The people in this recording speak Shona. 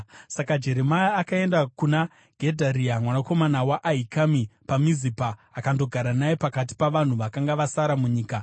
Saka Jeremia akaenda kuna Gedharia mwanakomana waAhikami paMizipa akandogara naye pakati pavanhu vakanga vasara munyika.